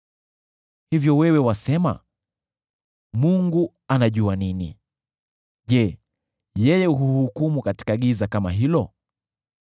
Hivyo wewe wasema, ‘Mungu anajua nini?’ Je, yeye huhukumu katika giza kama hilo?